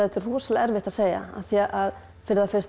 rosalega erfitt að segja af því að fyrir það fyrsta